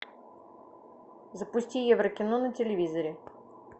запусти еврокино на телевизоре